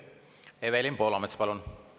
Evelin Poolamets, palun!